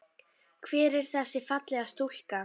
Hver er þessi fallega stúlka?